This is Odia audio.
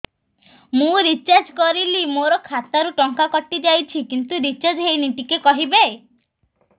ମୁ ରିଚାର୍ଜ କରିଲି ମୋର ଖାତା ରୁ ଟଙ୍କା କଟି ଯାଇଛି କିନ୍ତୁ ରିଚାର୍ଜ ହେଇନି ଟିକେ କହିବେ